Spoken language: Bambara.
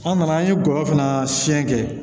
An nana an ye gɔyɔ fana siɲɛ kɛ